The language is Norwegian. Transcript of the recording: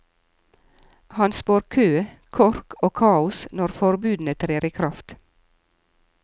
Han spår kø, kork og kaos når forbudene trer i kraft.